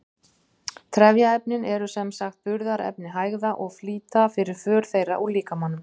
Trefjaefnin eru sem sagt burðarefni hægða og flýta fyrir för þeirra úr líkamanum.